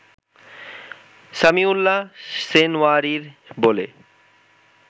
সামিউল্লাহ সেনওয়ারির বলে